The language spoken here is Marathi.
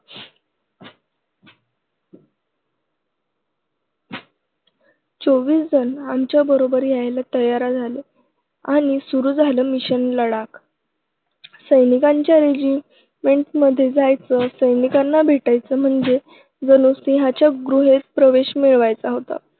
चोवीसजण आमच्याबरोबर यायला तयार झाले आणि सुरू झालं mission लडाख. सैनिकांच्या regiment मध्येजायचं, सैनिकांना भेटायचं म्हणजे जणू सिंहाच्या गुहेत प्रवेश मिळवायचा होता.